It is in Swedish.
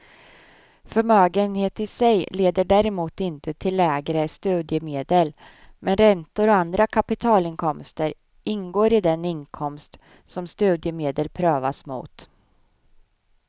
Förmögenhet i sig leder däremot inte till lägre studiemedel, men räntor och andra kapitalinkomster ingår i den inkomst som studiemedel prövas mot.